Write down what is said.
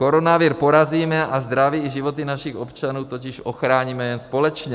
Koronavir porazíme a zdraví i životy našich občanů totiž ochráníme jen společně.